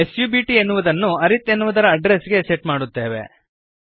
ಸಬ್ಟ್ ಎನ್ನುವುದನ್ನು ಅರಿತ್ ಎನ್ನುವುದರ ಅಡ್ರೆಸ್ ಗೆ ಸೆಟ್ ಮಾಡುತ್ತೇವೆ